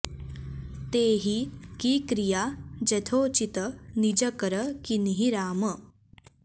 तेहि की क्रिया जथोचित निज कर कीन्ही राम